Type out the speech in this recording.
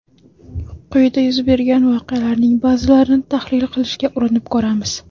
Quyida yuz bergan voqealarning ba’zilarini tahlil qilishga urinib ko‘ramiz.